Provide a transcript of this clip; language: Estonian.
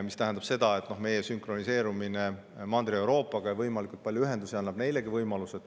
See tähendab, et meie sünkroniseerimine Mandri-Euroopaga ja võimalikult palju ühendusi annab neilegi võimaluse.